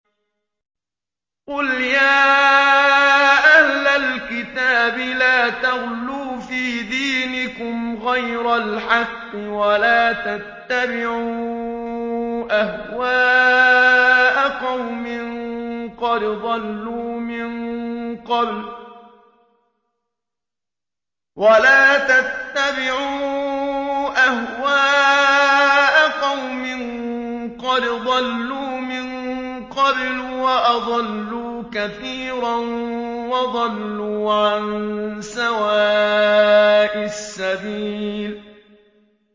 قُلْ يَا أَهْلَ الْكِتَابِ لَا تَغْلُوا فِي دِينِكُمْ غَيْرَ الْحَقِّ وَلَا تَتَّبِعُوا أَهْوَاءَ قَوْمٍ قَدْ ضَلُّوا مِن قَبْلُ وَأَضَلُّوا كَثِيرًا وَضَلُّوا عَن سَوَاءِ السَّبِيلِ